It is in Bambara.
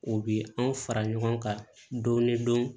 U bi anw fara ɲɔgɔn kan dɔɔni